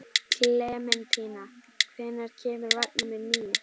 Klementína, hvenær kemur vagn númer níu?